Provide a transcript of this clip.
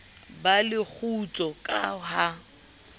ba le kgutso ka ha